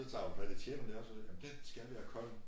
Så tager hun fat i tjeneren dér så jamen den skal være kold